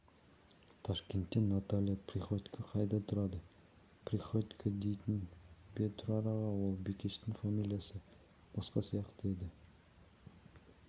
ташкентте наталья приходько қайда тұрады приходько дейсіз бе тұрар аға ол бикештің фамилиясы басқа сияқты еді